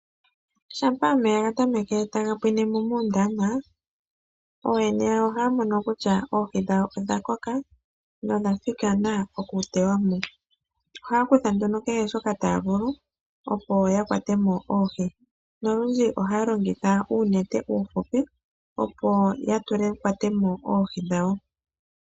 Shampa omeya ga tameke taga pwine mo muundama ooyene yawo ohaya mono kutya oohi dhawo odha koka nodha thikana oku tewa mo. Ohaya kutha nduno kehe shoka taya vulu, opo ya kwate mo oohi nolundji ohaya longitha uunete uuhupi, opo ya kwate mo oohi dhawo.